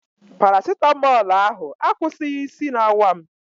Parasitamọl ahụ akwụsighị isi na-awa m.